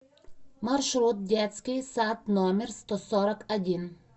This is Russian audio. маршрут детский сад номер сто сорок один